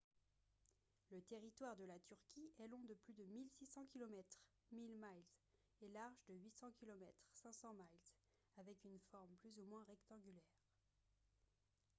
le territoire de la turquie est long de plus de 1600 kilomètres 1000 miles et large de 800 kilomètres 500 miles avec une forme plus ou moins rectangulaire